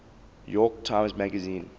york times magazine